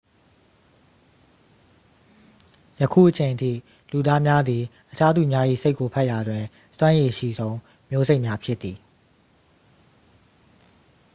ယခုအချိန်အထိ လူသားများသည် အခြားသူများ၏ စိတ်ကိုဖတ်ရာတွင် စွမ်းရည်အရှိဆုံး မျိုးစိတ်များ ဖြစ်သည်